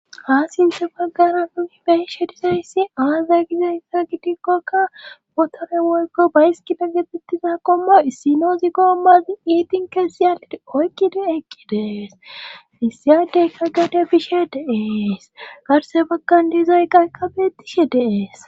Ha sinthe baggara nuni beishe dizoyssi aaza gizeyssa gidikkokka potore woykko bayski bengetettiza komo issino zi gommazin iitin keessi yalidi oykki de'eqqi dees issiyadeykka gade bishe deees garse bakkan dizoy qaykkabeetishe deees